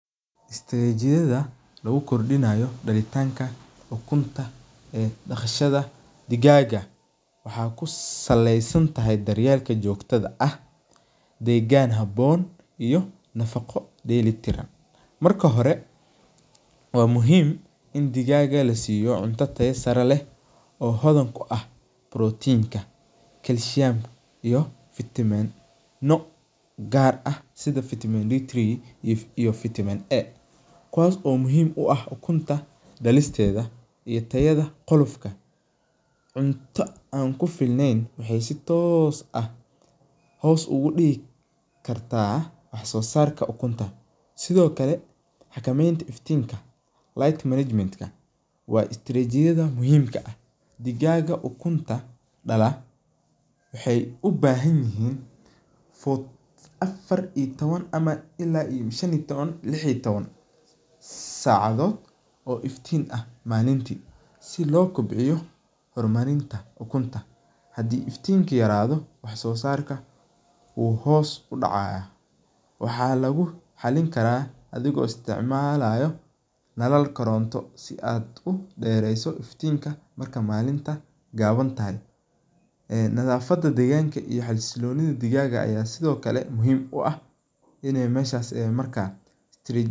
Istiratijadha lagu kordinaya dalitanka ukunta ee daqashaada digaga waxaa kusalesantahay daryel jogto ah daryel habon iyo nafaqo deli tiran marka hore waa muhiim on digaga lasiyo cunto oo hodgan kuah protein calcium ka iyo vitameno gar ah sitha vitamin D iyo vitamin A ga kuwas oo muhiim u ah ukunta dalisteeda iyo tayaada qolofka, cunto an kufilnen waxee si tos ah hos ogu digi kartaa waxso sarka sithokale xakamenta iftinka light management ka waa istirajiyada muhiim ka ah, digaga ukunta dala wexee u bahanyihin tawan ila lix iyo tawan sacadod oo iftin ah malinti si lo kobciyo malinta ukunta hadii iftinka yaradho wax sosarka hos ayu udacaya waxaa lagu xalin karaa athigo isticmalaya nalal koronto si aad u dereyso iftinka marka malinta gawantahay, nadhafaada deganka xasilonidha digaga aya sithokale muhiim u ah in meshas marka.